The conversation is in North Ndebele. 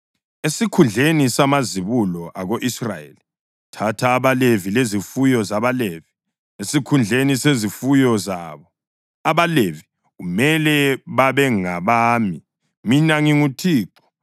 “Esikhundleni samazibulo ako-Israyeli thatha abaLevi, lezifuyo zabaLevi esikhundleni sezifuyo zabo. AbaLevi kumele babengabami. Mina nginguThixo.